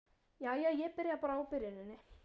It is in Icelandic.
Jæja, ég byrja bara á byrjuninni.